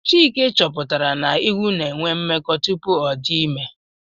Chike chọpụtara na ewu na enwe mmekọ tupu ọdị ime